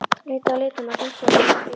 Leitað að lituðum að hringsóla um í bílum.